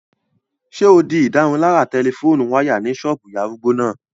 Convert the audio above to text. Ṣé o di ìdárunlárà tẹlifóònù wáyà ní ṣọ́ọ̀bù ìyá arúgbó náà?